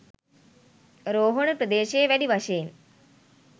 රෝහණ ප්‍රදේශයේ වැඩි වශයෙන්